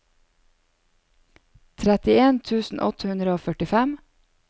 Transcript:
tretten tusen åtte hundre og førtifem